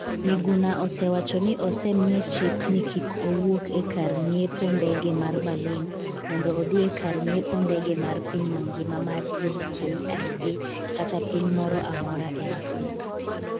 Miguna osewacho ni osemiye chik ni kik owuok e kar ng’iepo ndege mar Berlin mondo odhi e kar ng’iepo ndege mar piny mangima mar JKIA kata piny moro amora e Afrika.